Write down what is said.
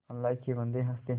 अल्लाह के बन्दे हंस दे